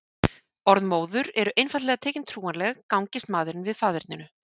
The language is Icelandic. Orð móður eru einfaldlega tekin trúanleg gangist maðurinn við faðerninu.